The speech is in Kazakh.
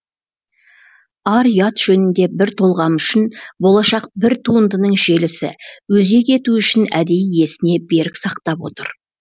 ар ұят жөнінде бір толғам үшін болашақ бір туындының желісі өзегі ету үшін әдейі есіне берік сақтап отыр